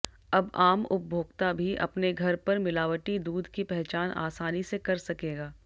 अब आम उपभोक्ता भी अपने घर पर मिलावटी दूध की पहचान आसानी से कर सकेगा